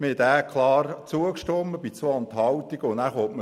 Wir stimmten dem Bericht bei 2 Enthaltungen klar zu.